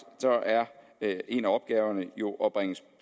er en af opgaverne jo at bringe